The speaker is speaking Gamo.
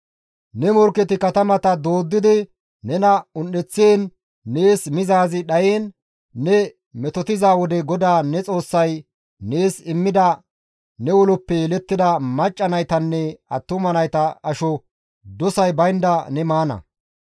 Ne morkketi ne katamata dooddidi nena un7eththiin nees mizaazi dhayiin ne metotiza wode GODAA ne Xoossay nees immida ne uloppe yelettida macca naytanne attuma nayta asho dosay baynda ne maana.